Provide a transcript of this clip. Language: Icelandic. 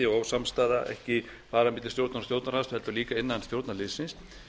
ósamstaða ekki bara milli stjórnar og stjórnarandstöðu heldur líka innan stjórnarliðsins